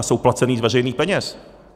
A jsou placeny z veřejných peněz.